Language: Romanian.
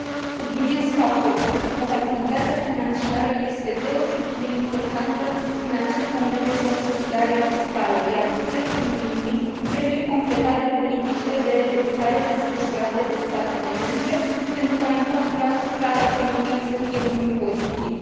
Subliniez faptul că responsabilitatea financiară este deosebit de importantă în acest moment de consolidare fiscală, iar bugetul Uniunii trebuie completat de politicile de redresare desfășurate de statele membre, pentru ca impactul asupra economiei să fie unul pozitiv.